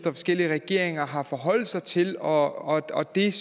forskellige regeringer har forholdt sig til og og det